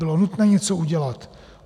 Bylo nutné něco udělat.